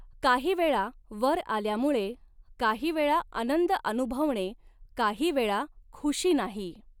काहीवेळा वर आल्यामुळे काहीवेळा आनंद अनुभवणे काहीवेळा ख़ुशी नाही.